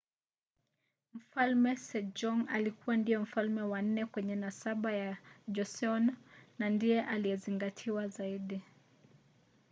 mfalme sejong alikua ndiye mfalme wa nne kwenye nasaba ya joseon na ndiye aliyezingatiwa zaidi